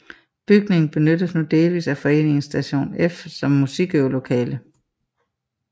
Bygningen benyttes nu delvist af foreningen Station F som musikøvelokale